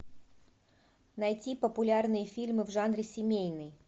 найти популярные фильмы в жанре семейный